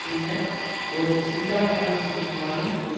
உள்ள ஒரு சிங்கள கிராமத்தில் வாழும் ஒரு